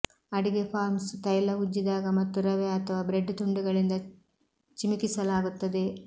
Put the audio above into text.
ಅಡಿಗೆ ಫಾರ್ಮ್ಸ್ ತೈಲ ಉಜ್ಜಿದಾಗ ಮತ್ತು ರವೆ ಅಥವಾ ಬ್ರೆಡ್ ತುಂಡುಗಳಿಂದ ಚಿಮುಕಿಸಲಾಗುತ್ತದೆ